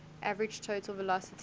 average total velocity